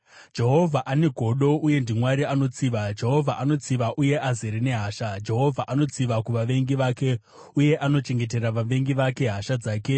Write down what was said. Jehovha ane godo uye ndiMwari anotsiva; Jehovha anotsiva uye azere nehasha. Jehovha anotsiva kuvavengi vake uye anochengetera vavengi vake hasha dzake.